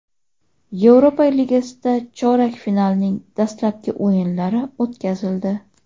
Yevropa Ligasida chorak finalning dastlabki o‘yinlari o‘tkazildi.